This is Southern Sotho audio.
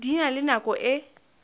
di na le nako e